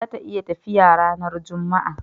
za ta yi tafiya ranar jumma'a